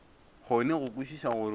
kgone go kwešiša gore o